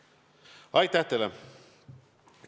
Aitäh teile!